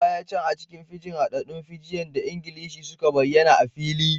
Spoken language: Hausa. A baya can, a cikin Fiji, haɗaɗɗun Fijian da Ingilishi sun bayyana a fili